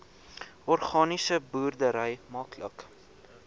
organiese boerdery maklik